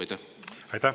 Aitäh!